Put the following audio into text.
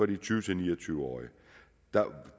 de tyve til ni og tyve årige